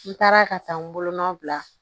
N taara ka taa n bolonɔ bila